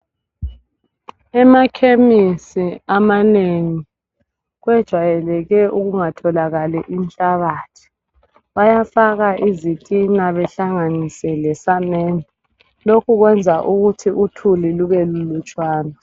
Emakhemisi amanengi kwejwayeleke ukungatholakali inhlabathi. Bayafaka izitina behlanganise lesamende. Lokhu kwenza ukuthi uthuli lubelulutshwana.